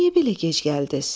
Niyə belə gec gəldiniz?